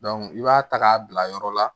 i b'a ta k'a bila yɔrɔ la